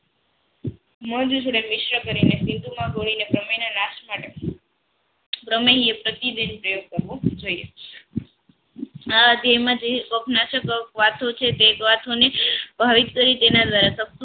મોજ મોજ મિશ્ર કરીને સેતુમાં કોઈને જમણીના નાશ માટે પ્રતિદિન પ્રયોગ કરવો જોઈએ વાતો છે તેની તે જ વાતોને ભાવિક તારીખ ભાવિક તરીકે ના